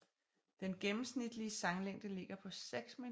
Den gennemsnitlige sanglængde ligger på seks minutter